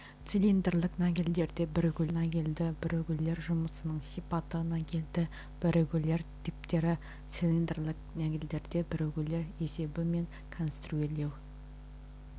цилиндрлік нагельдерде бірігулер нагельді бірігулер жұмысының сипаты нагельді бірігулер типтері цилиндрлік нагельдерде бірігулер есебі мен конструирлеу